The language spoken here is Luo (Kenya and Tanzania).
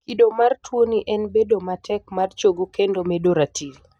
kido mar tuoni en bedo matek mar chogo kendo medo ratil